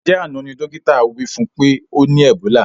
Njẹ àná ní dókítà wí fún pé ọ ní ẹ̀bólà?